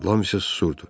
Lam isə susurdu.